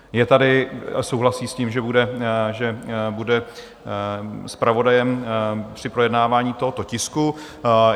Je tady a souhlasí s tím, že bude zpravodajem při projednávání tohoto tisku.